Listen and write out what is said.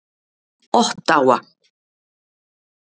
Ottawa